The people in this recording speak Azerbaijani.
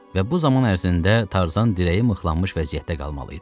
Və bu zaman ərzində Tarzan dirəyi mıxlanmış vəziyyətdə qalmalı idi.